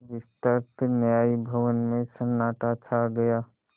विस्तृत न्याय भवन में सन्नाटा छा गया